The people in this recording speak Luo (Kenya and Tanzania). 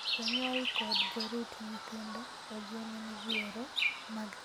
Jonyuol kod jorit nyithindo ojiw ni midhiero mag keny kik keth dongruok mag nyithindo.